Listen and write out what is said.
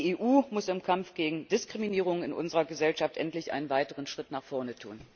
Die EU muss im Kampf gegen Diskriminierung in unserer Gesellschaft endlich einen weiteren Schritt nach vorne tun!